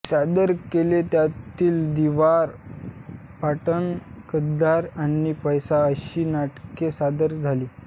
सादर केले त्यातील दीवार पठाण गद्दार आणि पैसा अशी नाटके सादर झाली